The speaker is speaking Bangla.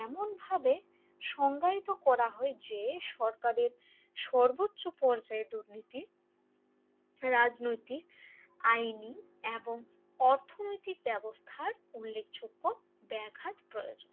এমনভাবে সংজ্ঞায়িত করা হয় যে সরকারের সর্বোচ্চ পর্যায়ে দুর্নীতি রাজনৈতিক আইনি এবং অর্থনৈতিক ব্যবস্থার উল্লেখযোগ্য ব্যাঘাত প্রয়োজন